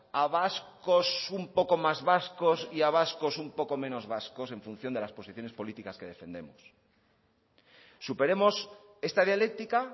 a vascos un poco más vascos y a vascos un poco menos vascos en función de las posiciones políticas que defendemos superemos esta dialéctica